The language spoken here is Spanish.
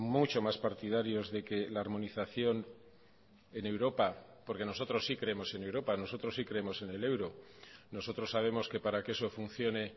mucho más partidarios de que la armonización en europa porque nosotros sí creemos en europa nosotros sí creemos en el euro nosotros sabemos que para que eso funcione